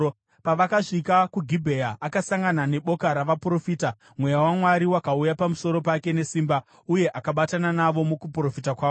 Pavakasvika kuGibhea, akasangana neboka ravaprofita; Mweya waMwari wakauya pamusoro pake nesimba, uye akabatana navo mukuprofita kwavo.